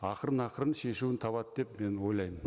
ақырын ақырын шешуін табады деп мен ойлаймын